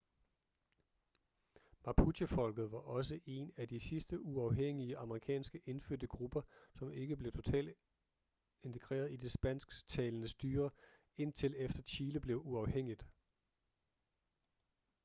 mapuchefolket var også en af de sidste uafhængige amerikanske indfødte grupper som ikke blev totalt integreret i det spansktalende styre indtil efter chile blev uafhængigt